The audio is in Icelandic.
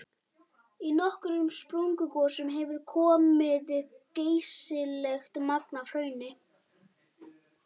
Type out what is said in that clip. Í nokkrum sprungugosum hefur komið upp geysilegt magn af hrauni.